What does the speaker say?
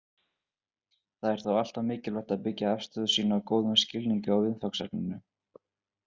Það er þó alltaf mikilvægt að byggja afstöðu sína á góðum skilningi á viðfangsefninu.